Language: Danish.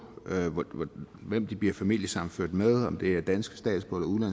hvem de bliver familiesammenført med om det er danske